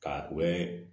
Ka u bɛ